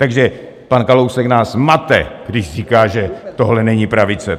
Takže pan Kalousek nás mate, když říká, že tohle není pravice.